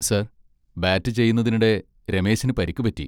Sir bat ചെയ്യുന്നതിനിടെ രമേശിന് പരിക്ക് പറ്റി.